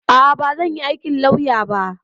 A'a, bazan yi aikin lauya ba.